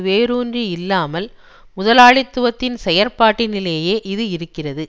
வேரூன்றியில்லாமல் முதலாளித்துவத்தின் செயற்பாட்டினிலேயே இது இருக்கிறது